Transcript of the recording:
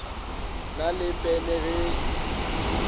na le pene le ge